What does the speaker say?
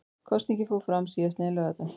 Kosningin fór fram síðastliðinn laugardag